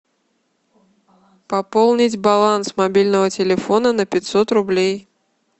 пополнить баланс мобильного телефона на пятьсот рублей